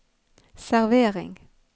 servering